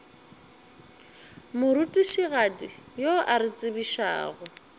morutišigadi yo a re tsebišago